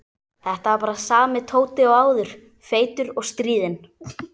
Þetta var bara sami Tóti og áður, feitur og stríðinn.